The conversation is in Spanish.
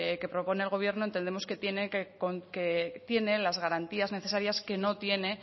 que propone el gobierno entendemos que tiene las garantías necesarias que no tiene